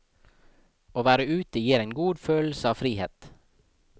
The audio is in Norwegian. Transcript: Å være ute gir en god følelse av frihet.